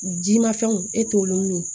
Jimafɛnw e t'olu min ye